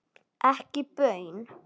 Ekki baun.